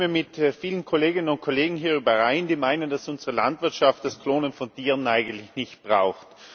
Ich stimme mit vielen Kolleginnen und Kollegen hier überein, die meinen, dass unsere Landwirtschaft das Klonen von Tieren eigentlich nicht braucht.